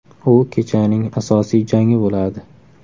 U kechaning asosiy jangi bo‘ladi.